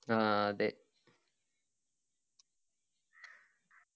ആ അതെ